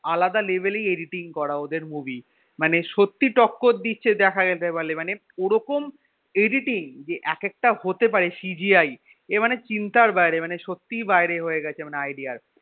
আলাদা level এই editing করা ওদের movie মানে সত্যি টক্কর দিচ্ছে দেখা যেতে পারলে মানে ওরকম editing যে এক একটা হতে পারে CGI এ মানে চিন্তার বাইরে মানে সত্যি বাইরে হয়ে গেছে idea এর